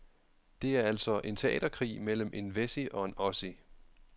Det er altså en teaterkrig mellem en wessie og en ossie.